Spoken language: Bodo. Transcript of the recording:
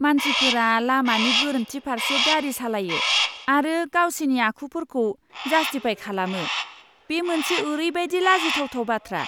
मानसिफोरा लामानि गोरोन्थि फारसे गारि सालायो आरो गावसिनि आखुफोरखौ जास्टिफाय खालामो, बे मोनसे ओरैबायदि लाजिथावथाव बाथ्रा!